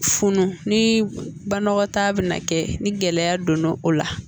Funun ni banakɔtaa bɛna kɛ ni gɛlɛya donna o la